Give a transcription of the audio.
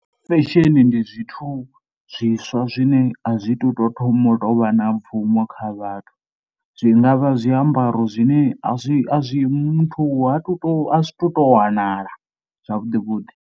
Fashion ndi zwithu zwiswa zwine a zwi tou thoma u tou vha na mbvumo kha vhathu, zwi nga vha zwiambaro zwine a zwi a zwi muthu a to, a zwi tou wanala zwavhuḓi vhuḓi.